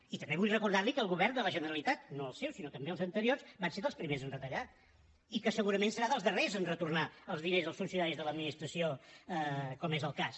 i també vull recordar li que el govern de la generalitat no el seu sinó també els anteriors van ser dels primers a retallar i que segurament serà dels darrers a retornar els diners als funcionaris de l’administració com és el cas